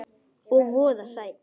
Og voða sætt.